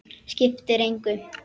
Skiptir engu!